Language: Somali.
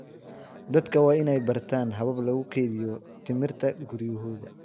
Dadka waa in ay bartaan habab lagu kaydiyo tamarta guryahooda.